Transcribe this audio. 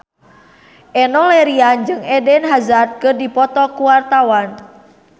Enno Lerian jeung Eden Hazard keur dipoto ku wartawan